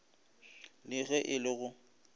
le ge e le go